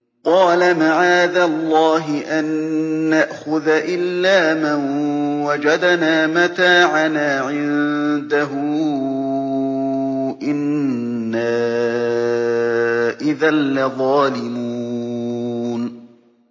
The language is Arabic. قَالَ مَعَاذَ اللَّهِ أَن نَّأْخُذَ إِلَّا مَن وَجَدْنَا مَتَاعَنَا عِندَهُ إِنَّا إِذًا لَّظَالِمُونَ